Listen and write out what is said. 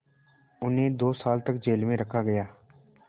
उन्हें दो साल तक जेल में रखा गया